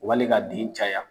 Wali ka den caya.